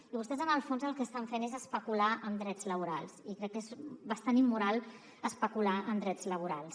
i vostès en el fons el que estan fent és especular amb drets laborals i crec que és bastant immoral especular amb drets laborals